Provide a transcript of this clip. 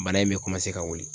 Bana in be ka wili.